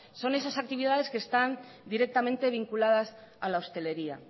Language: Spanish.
son esas actividades que están directamente vinculadas a la hosteleria